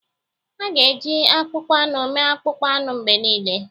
A ga-eji akpụkpọ anụ mee akpụkpọ anụ mgbe niile.